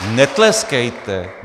Netleskejte.